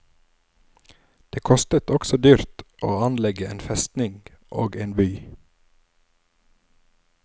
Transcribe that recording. Det kostet også dyrt å anlegge en festning og en by.